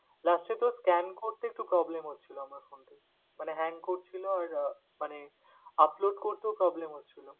Last এ তোর scan করতে একটু problem হচ্ছিলো আমার phone থেকে মানে hang করছিল আর আহ মানে upload করতেও problem হচ্ছিল।